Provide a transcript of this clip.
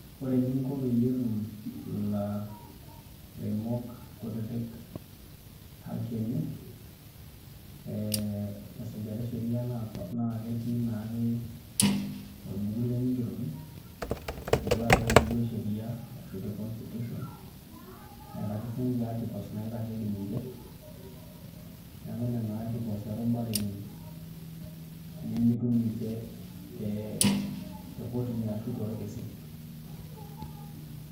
Ore eninko peyie etum ilaremok kutitik haki enye ee tesujata e sheria naa eketii naake orbuku lenye oigeroki tenoshi ake buku e sheria ashu te constitution neeta ake sininche articles naitasheiki ninche, neeku nena articles erubareki nemitu ninche tekotini ashu torkesin.